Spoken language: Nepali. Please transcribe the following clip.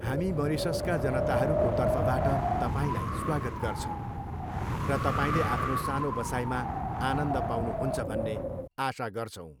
हामी मरिससका जनताहरूको तर्फबाट तपाईँलाई स्वागत गर्छौ र तपाईँले आफ्नो सानो बसाइमा आनन्द पाउनुहुन्छ भन्ने आशा गर्छौ।